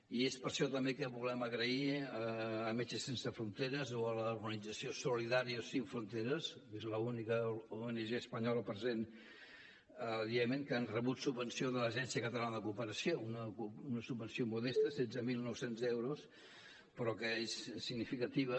i és per això també que volem agrair a metges sense fronteres o a l’organització solidarios sin fronteras que és l’única ong espanyola present al iemen que han rebut subvenció de l’agència catalana de cooperació una subvenció modesta setze mil nou cents euros però que és significativa